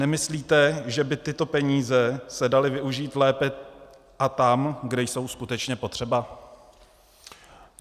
Nemyslíte, že by tyto peníze se daly využít lépe a tam, kde jsou skutečně potřeba?